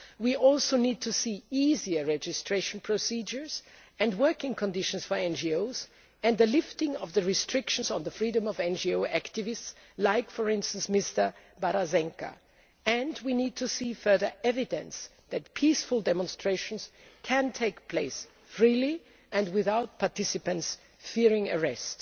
We also need to see easier registration procedures and working conditions for NGOs and the lifting of the restrictions on the freedom of NGO activists like, for example, Mr Barazenka and we need to see further evidence that peaceful demonstrations can take place freely and without participants fearing arrest.